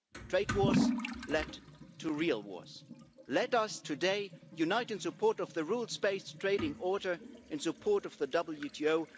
Trade wars led to real wars. Let us today unite in support of the rules based trading order in support of the WTO.